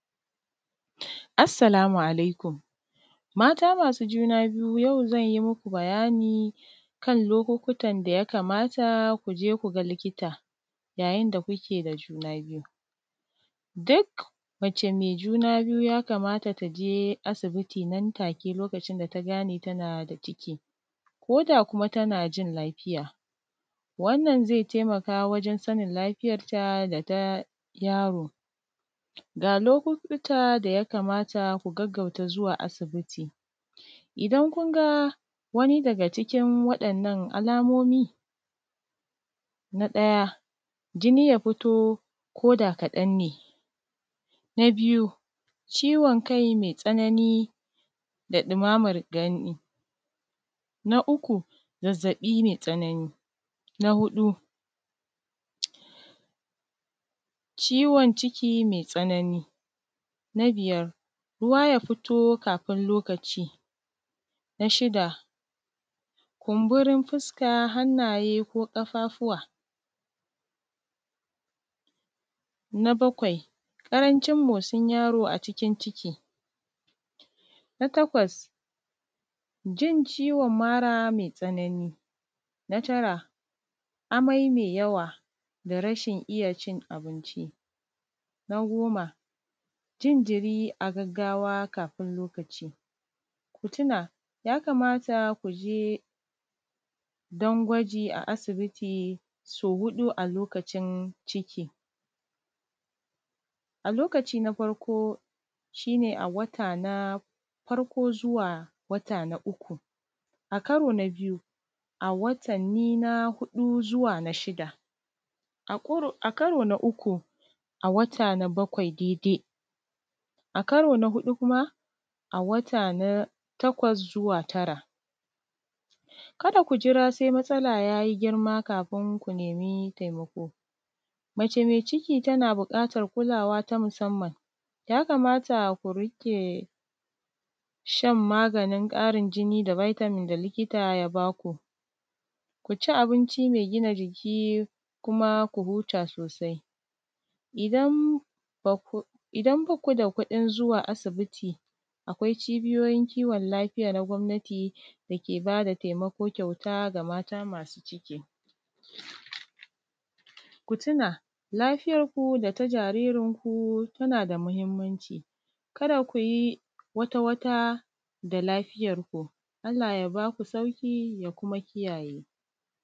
Assalamu alaikum. Mata masu juna biyu yau zan yi maku bayani kan lokukutan da ya kamata ku je ku ga likita yayin da kuke da juna biyu. Duk mace mai juna biyu ya kamata ta je asibiti nan take lokacin da ta gane tana da ciki ko da kuwa tana jin lafiya. Wannan zai taimaka wajan sanin lafiyarta da ta yaro. Ga lokukutan da ya kamata ku gaggauta zuwa asibiti. idan kun ga wani daga cikin waɗannan alamomi na ɗaya jini ya fito koda kaɗan ne. Na biyu ciwon kai mai tsanani da dumamar gani. Na uku zazzaɓi mai tsanani. Na huɗu ciwon ciki mai tsanani. Na biyar ruwa ya fito kafin lokaci. Na shida kumburin fuska, hannayen, ko ƙafafuwa. Na bakwai ƙarancin motsin yaro a cikin ciki. Na takwa jin ciwon mara mai tsanani. Na tara amai mai yawa da rashin iya cin abinci. Na goma jin jiri a gaggawa kafin lokaci. Ku tuna ya kamata ku je don gwaji a asibiti sau huɗu a lokacin ciki. A lokaci na farko shi ne a wata na farko, zuwa wata na uku. Karo na biyu a watanni na huɗu zuwa na shida. A karo na uku a watanni na bakwai dai dai. A karo na huɗu kuma a wata na takwas zuwa tara. Kada ku jira sai matsala girma yayi girma kafin ku nemi taimako. Mace mai ciki tana buƙatan kulawa ta musanman. Ya kamata ku riƙe shan maganin ƙarin jini da vitamin da likita ya ba ku. Ku ci abinci mai gina jiki kuma ku huta sosai. Idan baku da kuɗin zuwa asibiti akwai cibiyoyin kiwon lafiya na gwamnati da ke ba da taimako kyauta ga mata masu ciki. Ku tuna lafiyan ku da ta jaririnku tana da mahimmanci. kada ku yi wata wata da lafiyarku. Allah ya baku sauki ya kuma kiyaye.